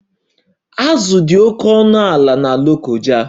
Azụ dị oke ọnụ ala na Lokoja